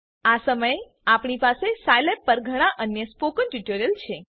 આ સમયે આપણી પાસે સાઈલેબ પર ઘણા અન્ય સ્પોકન ટ્યુટોરીયલ છે